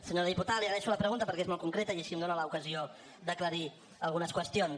senyora diputada li agraeixo la pregunta perquè és molt concreta i així em dona l’ocasió d’aclarir algunes qüestions